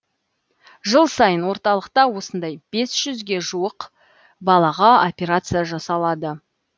жыл сайын орталықта осындай бес жүзге жуық балаға операция жасалады